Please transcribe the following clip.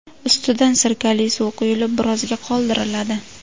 Ustidan sirkali suv quyilib, birozga qoldiriladi.